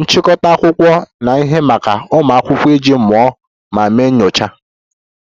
nchịkọta akwụkwọ na ihe maka ụmụ akwụkwọ iji mụọ ma mee nyocha